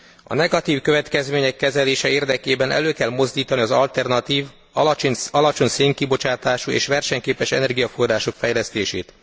A negatív következmények kezelése érdekében elő kell mozdítani az alternatív, alacsony szénkibocsátású és versenyképes energiaforrások fejlesztését.